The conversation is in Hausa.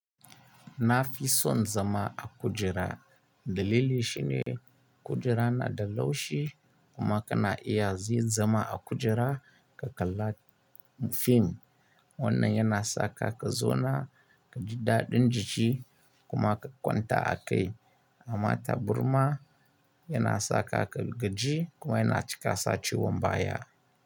Na fi son zama a kujera dalili shine kujera na da laushi kuma kana iya zai zama a kujera ka kalla fim wannan yana saka ka zauna ka ji daɗin jiki kuma ka kwanta a kai. Amma taburma yana sakaka gaji kuma yana cika saci wambaya.